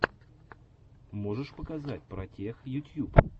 можешь показать протех ютюб